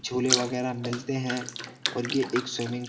झूले वगैरह मिलते हैं और ये एक स्विमिंग --